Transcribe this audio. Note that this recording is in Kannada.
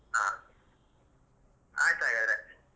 ಹ ಆಯ್ತ್ ಹಾಗಾದ್ರೆ.